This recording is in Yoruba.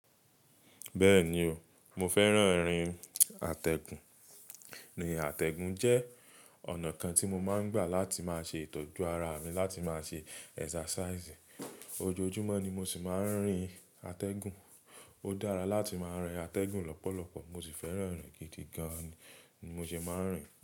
Bẹ́ẹ̀ni o, mo fẹ́ràn írin àtẹ̀gùn. Rírin àtẹ̀gùn jẹ́ ọ̀nà kan tí mo máa ń gbà láti máa ṣe ìtọ́jú ara mi láti máa ṣe exercise. Ojoojúmọ́ ni mo sì máa ń rìn àtẹ̀gùn. Ó dára láti máa rìn àtẹ̀gùn lọ́pọ̀lọpọ̀, mo sì fẹ́ràn rìn gidi gan ni mo sì máa ń rìn.